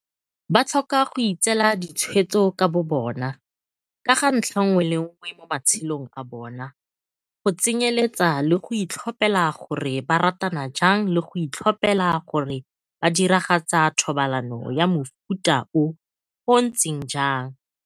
Ba tlhoka go itseela ditshwetso ka bobona ka ga ntlha nngwe le nngwe mo ma-tshelong a bona, go tsenyeletsa le go itlhophela gore ba ratana jang le go itlhophela gore ba diragatsa thobalano ya mofuta o o ntseng jang.